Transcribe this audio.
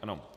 Ano.